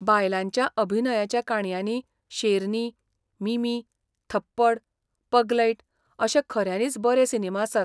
बायलांच्या अभिनयाच्या काणयांनी शेरनी, मिमी, थप्पड, पगलैट अशे खऱ्यांनीच बरे सिनेमा आसात.